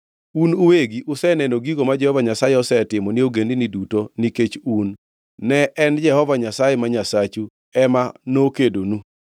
Un uwegi useneno gigo ma Jehova Nyasaye osetimo ni ogendinigi duto nikech un; ne en Jehova Nyasaye ma Nyasachu ema nokedonu.